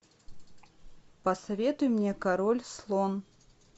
посоветуй мне король слон